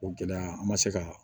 O gɛlɛya an ma se ka